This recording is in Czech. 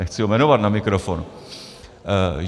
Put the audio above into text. Nechci ho jmenovat na mikrofon.